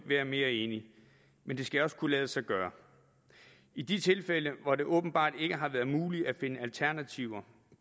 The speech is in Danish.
være mere enig men det skal også kunne lade sig gøre i de tilfælde hvor det åbenbart ikke har været muligt at finde alternativer